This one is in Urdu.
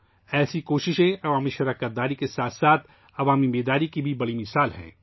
اس طرح کی کوششیں عوامی شرکت کے ساتھ ساتھ عوامی بیداری کی بہترین مثالیں ہیں